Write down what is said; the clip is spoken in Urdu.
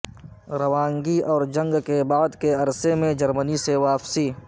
روانگی اور جنگ کے بعد کے عرصے میں جرمنی سے واپسی